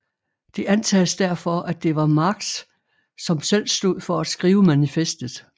Det antages derfor at det var Marx som selv stod for at skrive manifestet